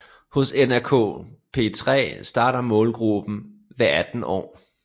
Hos NRK P3 starter målgruppen ved 18 år